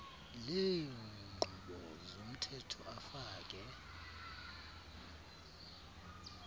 leenkqubo zomthetho afake